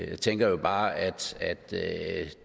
jeg tænker jo bare at